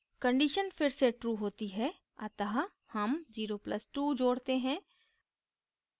condition फिर से true होती है अतः हम 0 + 2 जोडते हैं